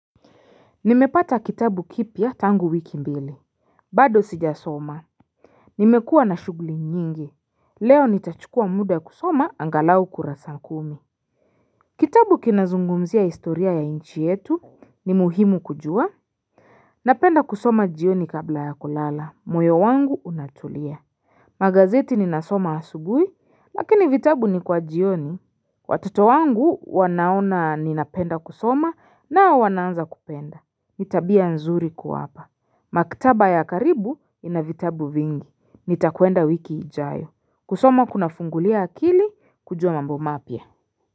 Nimepata kitabu kipya tangu wiki mbili bado sijasoma Nimekuwa na shughuli nyingi, leo nitachukua muda kusoma angalau kurasa kumi Kitabu kinazungumzia historia ya nchi yetu ni muhimu kujua Napenda kusoma jioni kabla ya kulala, moyo wangu unatulia Magazeti ninasoma asubuhi lakini vitabu ni kwa jioni Watoto wangu wanaona ninapenda kusoma nao wanaanza kupenda ni tabia nzuri kuwapa. Maktaba ya karibu ina vitabu vingi. Nitakwenda wiki ijayo. Kusoma kunafungulia akili kujua mambo mapya.